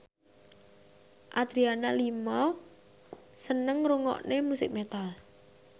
Adriana Lima seneng ngrungokne musik metal